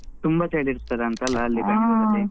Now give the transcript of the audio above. ತುಂಬ ಚಳಿ ಇರ್ತದಾ ಅಂತ ಅಲ್ಲಾ ಅಲ್ಲಿ ಬೆಂಗಳೂರಲ್ಲಿ.